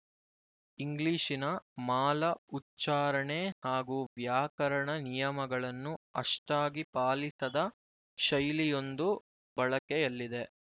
ಇಂಗ್ಲಿಶಿನ ಮಾಲ ಉಚ್ಚಾರಣೆ ಹಾಗೂ ವ್ಯಾಕರಣ ನಿಯಮಗಳನ್ನು ಅಷ್ಠಾಗಿ ಪಾಲಿಸದ ಶೈಲಿಯೊಂದು ಬಳಕೆಯಲ್ಲಿದೆ